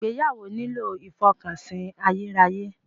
Ìgbéyàwó nílò ìfọkànsìn ayérayé.